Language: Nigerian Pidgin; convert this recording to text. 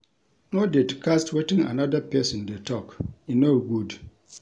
No dey to cast wetin anoda pesin dey tok, e no good.